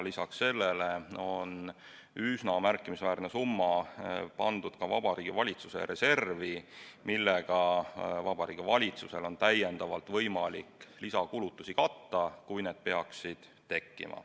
Lisaks sellele on üsna märkimisväärne summa pandud ka Vabariigi Valitsuse reservi, millega Vabariigi Valitsusel on samuti võimalik lisakulutusi katta, kui need peaksid tekkima.